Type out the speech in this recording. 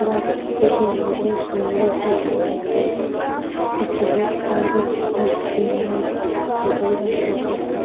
बहुत सुन्दर सजाया हुआ है बहुत सारे